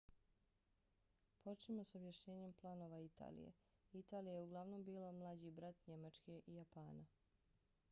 počnimo s objašnjenjem planova italije. italija je uglavnom bila mlađi brat njemačke i japana